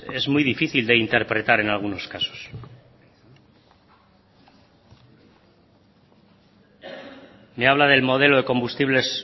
es muy difícil de interpretar en algunos casos me habla del modelo de combustibles